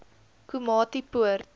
komatipoort